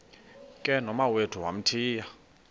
ke nomawethu wamthiya